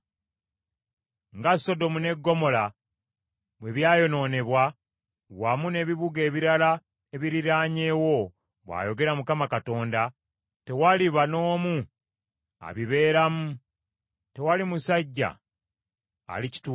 Nga Sodomu ne Ggomola bwe byayonoonebwa, wamu n’ebibuga ebirala ebiriraanyeewo,” bw’ayogera Mukama Katonda, “tewaliba n’omu abibeeramu; tewali musajja alikituulamu.